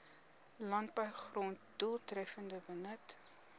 landbougrond doeltreffender benut